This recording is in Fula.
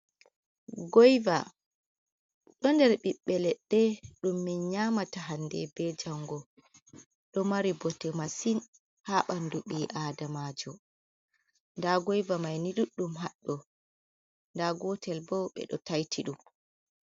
Goiva do nder ɓiɓɓe leɗɗe ɗum min nyamata hande be jango ɗo mari bote massin ha ɓandu ɓi adamajo, nda goiva maini ɗuɗɗum haddo nda gotel bo ɓe ɗo taiti ɗum.